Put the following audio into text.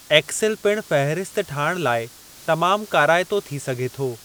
XL पिणु फ़हिरिस्त ठाहिणु लाइ तमामु काराइतो थी सघे थो।